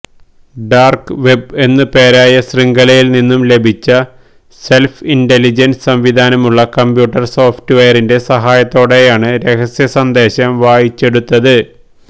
dark web എന്നുപേരായ ശൃംഖലയില് നിന്നും ലഭിച്ച സെല്ഫ് ഇന്റലിജന്സ് സംവിധാനമുള്ള കമ്പ്യൂട്ടര് സോഫ്റ്റ്വെയറിന്റെ സഹായത്തോടെയാണ് രഹസ്യ സന്ദേശം വായിച്ചെടുത്തത്